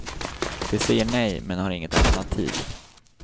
De säger nej, men har inget alternativ.